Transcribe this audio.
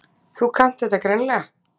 Þú kannt þetta greinilega.